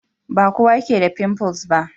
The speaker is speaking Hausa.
Ba kowa ke da pimples ba.